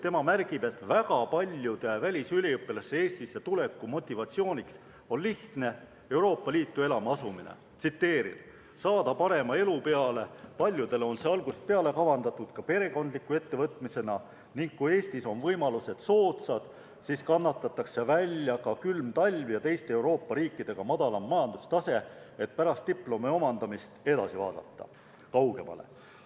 Tema märgib, et väga paljude välisüliõpilaste Eestisse tuleku motivatsiooniks on lihtne Euroopa Liitu elama asumine: "Saada parema elu peale, paljudel on see algusest peale kavandatud ka perekondliku ettevõtmisena ning kui Eestis on võimalused soodsad, siis kannatatakse välja ka külm talv ja teiste Euroopa riikidega madalam majandustase, et pärast diplomi omandamist edasi vaadata.